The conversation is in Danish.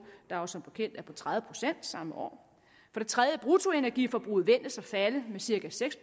der som bekendt er på tredive procent samme år for det tredje ventes bruttoenergiforbruget at falde med cirka seks